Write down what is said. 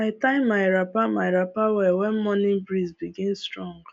i tie my wrapper my wrapper well when morning breeze begin strong